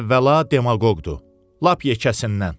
Əvvəla demaqoqdur, lap yekəsindən.